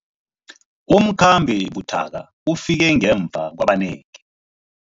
Umkhambi buthaka ufike ngemva kwabanengi.